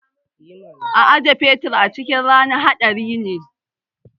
Ajiye fetur a cikin rana haɗari ne.